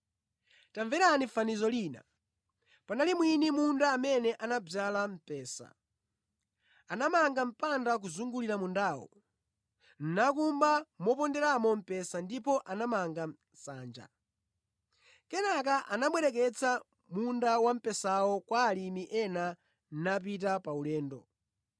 “Tamverani fanizo lina: Panali mwini munda amene anadzala mphesa. Anamanga mpanda kuzungulira mundawo, nakumba moponderamo mphesa ndipo anamanga nsanja. Kenaka anabwereketsa munda wamphesawo kwa alimi ena napita pa ulendo.